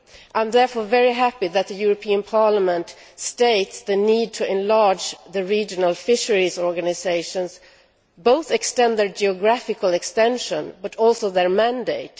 I am therefore very happy that the European Parliament states the need to enlarge the regional fisheries organisations, both extend their geographical extension but also their mandate.